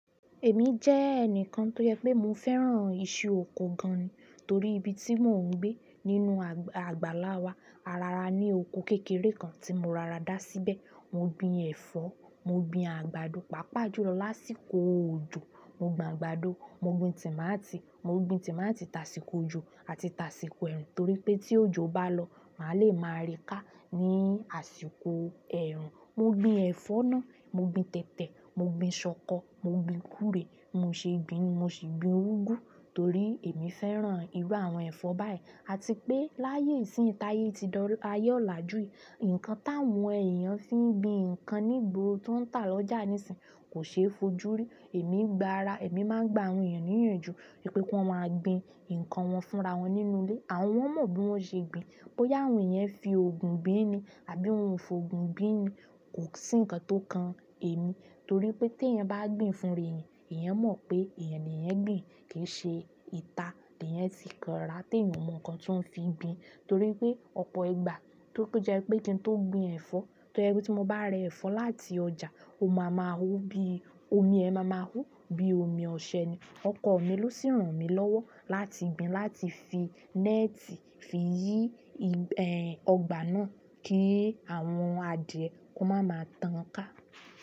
Èmi jẹ́ ẹnìkan tó yẹ pé mo fẹ́ràn iṣu oko gan-an torí ibi tí mò ń gbé nínú àgbàlá wa, ara ara ní oko kékeré kan tí mo rara dá síbẹ̀. Mo gbin ẹ̀fọ́, mo gbin àgbàdo, pàápàá jó lọ lásìkò òjò. Mo gbin àgbàdo, mo gbin tòmátì, mo gbin tòmátì tasiko òjò àti tasiko ẹ̀rùn torí pé tí òjò bá lọ, màá le máa rí ká ní àsìkò ẹ̀rùn. Mo gbin ẹ̀fọ́ náà, mo gbin tẹ̀tẹ̀, mo gbin ṣọkọ, mo gbin gúrè, mo ṣe gbin ni mo sì gbin úgú torí èmi fẹ́ràn irú àwọn ẹ̀fọ́ báyìí. Àti pé láyé ìsíìnyí táyé ti dọ́ ayé ọ̀làjú yìí, nǹkan táwọn èèyàn fi ń gbin ǹkan ní ìgboro tó ń tà lọ́jà nísìínyí kò ṣe é fojú rí. Èmi gba ara, èmi máa ń gba àwọn èèyàn níyànjú pé kí wọ́n máa gbin ǹkan wọn fúnra wọn nínú ilé. Àwọn mọ bí wọ́n ṣe gbin. Bóyá òun yẹn fi òògùn gbin ni àbí òun kò fi òògùn gbin ni kò sí nǹkan tó kan èmi. Torí pé téèyàn bá gbin fúnra èèyàn, èèyàn mọ̀ pé èèyàn ni ẹ gbin kìí ṣe ìta, kì í ṣe ti kàn rà tí èèyàn mọ̀ nǹkan tí òun fi ń gbin. Torí pé ọ̀pọ̀ ìgbà tó jẹ́ pé kí n tó gbin ẹ̀fọ́, tó jẹ́ pé tí mo bá rẹ ẹ̀fọ́ láti ọjà, omi a máa máa hó bí, omi ẹ̀ máa ma hó bí omi ọ̀sẹ̀ ni. Ọkọ mi ló sì ràn mí lọ́wọ́ láti gbin láti fi náátì fi yí ọgbà náà kí àwọn adìẹ kó máa ma tán ká.